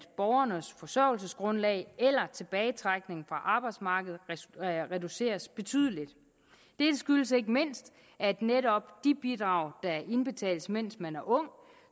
borgernes forsørgelsesgrundlag eller tilbagetrækning fra arbejdsmarkedet reduceres betydeligt dette skyldes ikke mindst at netop de bidrag der indbetales mens man er ung